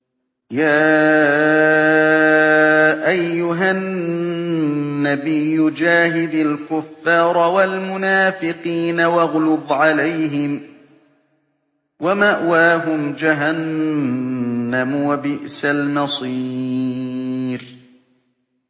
يَا أَيُّهَا النَّبِيُّ جَاهِدِ الْكُفَّارَ وَالْمُنَافِقِينَ وَاغْلُظْ عَلَيْهِمْ ۚ وَمَأْوَاهُمْ جَهَنَّمُ ۖ وَبِئْسَ الْمَصِيرُ